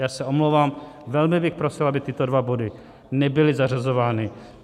Já se omlouvám, velmi bych prosil, aby tyto dva body nebyly zařazovány.